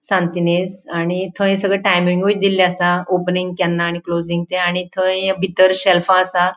सांतिनेझ आणि थय सगळे टाइमिंगुय दिल्ले असा. ओपनिंग केन्ना आणि क्लोज़िंग ते आणि थय भितर शेल्फा असा.